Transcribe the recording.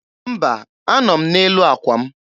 Mba, anọ m n'elu àkwà m.